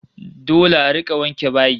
Dole a rika wanke bayi